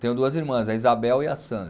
Tenho duas irmãs, a Isabel e a Sandra.